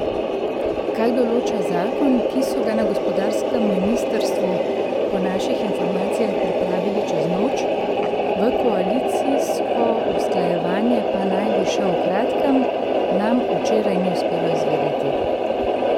Kaj določa zakon, ki so ga na gospodarskem ministrstvu po naših informacijah pripravili čez noč, v koalicijsko usklajevanje pa naj bi šel v kratkem, nam včeraj ni uspelo izvedeti.